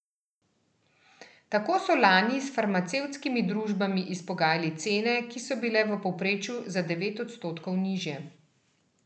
Tako so lani s farmacevtskimi družbami izpogajali cene, ki so bile v povprečju za devet odstotkov nižje.